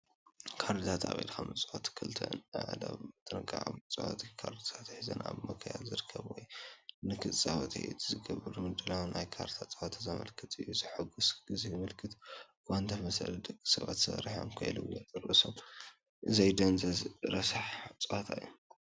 ካርድታት ኣብ ኢድካ ምጽዋት፡ ክልተ ኣእዳው ብጥንቃቐ መጻወቲ ካርድታት ሒዘን፣ ኣብ ምክያድ ዝርከብ ወይ ንኽጻወት ኢድ ዝግበር ምድላው ናይ ካርድ ጸወታ ዘመልክት እዩ፤ ሕጉስ ግዜ ዘመልክት እኳ እንተመሰለ ደቂ ሰባት ሰሪሖም ከይልወጡ ርእሶም ዘደንዝዝ ረሳሕ ፀወታ እዩ፡፡